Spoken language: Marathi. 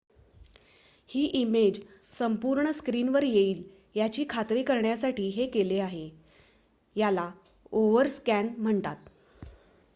ही इमेज संपूर्ण स्क्रिनवर येईल याची खात्री करण्यासाठी हे केले आहे याला ओव्हरस्कॅन म्हणतात